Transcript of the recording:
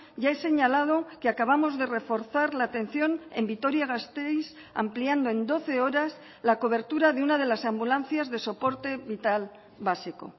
ya he señalado que acabamos de reforzar la atención en vitoria gasteiz ampliando en doce horas la cobertura de una de las ambulancias de soporte vital básico